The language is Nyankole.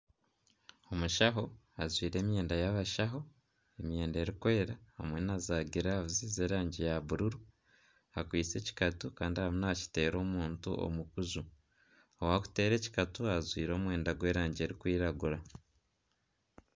Omushaho ajwaire emyenda y'abashaho emyenda erikwera hamwe naza giravuzi z'erangi ya bururu akwaitse ekikatu kandi arimu nakiteera omuntu omu kuju owakuteera ekikatu ajwaire omwenda gw'erangi erikwiragura.